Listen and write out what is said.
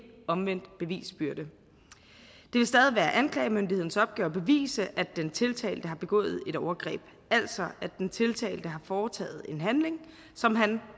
omvendt bevisbyrde det vil stadig være anklagemyndighedens opgave at bevise at den tiltalte har begået et overgreb altså at den tiltalte har foretaget en handling som han